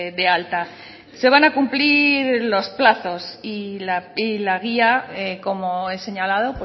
de alta se van a cumplir los plazos y la guía como he señalado